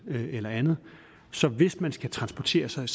eller andet så hvis man skal transportere sig